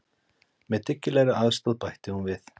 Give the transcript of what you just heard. Með dyggilegri aðstoð, bætti hún við.